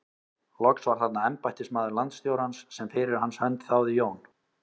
Loks var þarna embættismaður landstjórans sem fyrir hans hönd þáði Jón